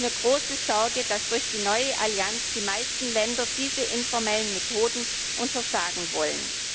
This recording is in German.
Es macht mir große Sorge, dass durch die neue Allianz die meisten Länder diese informellen Methoden untersagen wollen.